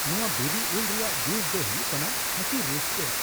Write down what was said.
ᱱᱚᱶᱟ ᱵᱤᱞᱤ ᱩᱞ ᱨᱮᱭᱟᱜ ᱡᱩᱥ ᱫᱚ ᱦᱩᱭᱩᱜ ᱠᱟᱱᱟ ᱠᱷᱟᱹᱴᱤ ᱨᱟᱹᱥᱠᱟᱹ ᱾